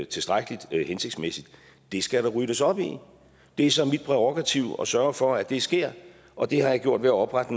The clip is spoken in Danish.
tilstrækkelig hensigtsmæssigt det skal der ryddes op i det er så mit prærogativ at sørge for at det sker og det har jeg gjort ved at oprette